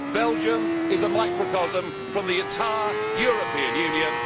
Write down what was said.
Belgium is a microcosm of the entire European Union.